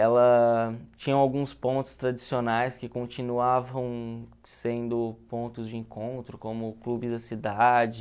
Ela tinha alguns pontos tradicionais que continuavam sendo pontos de encontro, como o Clube da Cidade,